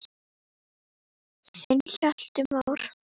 Þinn Hjalti Már.